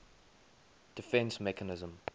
defence mechanism